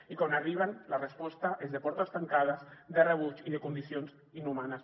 i quan arriben la resposta és de portes tancades de rebuig i de condicions inhumanes